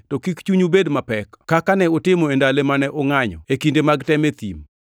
to kik chunyu bed mapek, kaka ne utimo e ndalo mane ungʼanyo e kinde mag tem e thim,